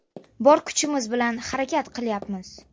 Bor kuchimiz bilan harakat qilyapmiz.